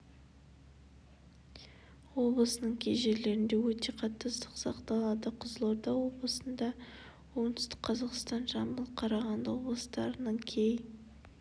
облысының кей жерлерінде өте қатты ыстық сақталады қызылорда облысында оңтүстік қазақстан жамбыл қарағанды облыстарының кей